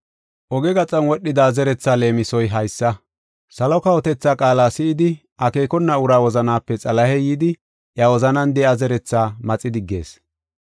Oge gaxan wodhida zerethi leemisoy haysa: salo kawotethaa qaala si7idi akeekona uraa wozanape Xalahey yidi iya wozanan de7iya zeretha maxi diggees.